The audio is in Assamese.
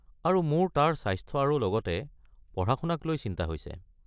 আৰু মোৰ তাৰ স্বাস্থ্য আৰু লগতে পঢ়া-শুনাক লৈ বৰ চিন্তা হৈছে।